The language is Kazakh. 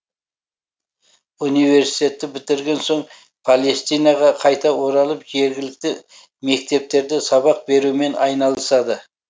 университетті бітірген соң палестинаға қайта оралып жергілікті мектептерде сабақ берумен айналысады